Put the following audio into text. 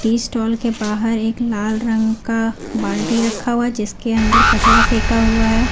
ई stall के बाहर एक लाल रंग का बाल्टी रखा हुआ जिसके अंदर कचरा फेंका हुआ है।